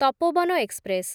Tapoban express